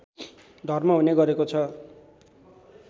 धर्म हुने गरेको छ